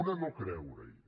una no creurehi